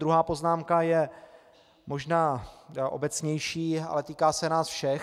Druhá poznámka je možná obecnější, ale týká se nás všech.